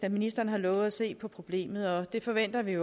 at ministeren har lovet at se på problemet og det forventer vi